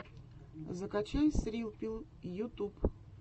закачай срилл пилл ютуб